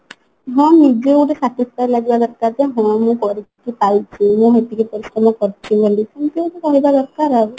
ହଁ ନିଜେ ଗୋଟେ satisfy ଲାଗିବା ଦରକାର ଯେ ହଁ ମୁଁ କରିକି ପାଇଛି ମୁଁ ସେତିକି ପରିଶ୍ରମ କରିଛି ବୋଲିକି ଏମତି ଗୋଟେ କହିବା ଦରକାର ଆଉ